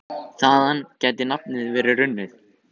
Þaðan gæti nafnið verið runnið.